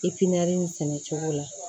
nin sɛnɛcogo la